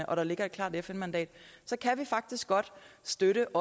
og der ligger et klart fn mandat så kan vi faktisk godt støtte